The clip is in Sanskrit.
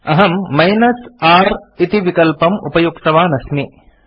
अहम् r इति विकल्पम् उपयुक्तवान् अस्मि